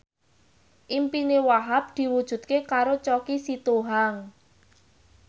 impine Wahhab diwujudke karo Choky Sitohang